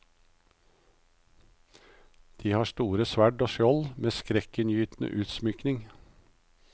De har store sverd og skjold, med skrekkinngytende utsmykning.